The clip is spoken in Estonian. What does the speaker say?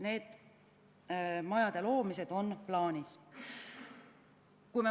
Nende majade loomine on plaanis.